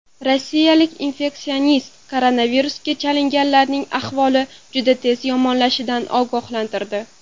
Rossiyalik infeksionist koronavirusga chalinganlarning ahvoli juda tez yomonlashishidan ogohlantirdi.